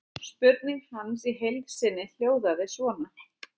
Spurning hans í heild sinni hljóðaði svona: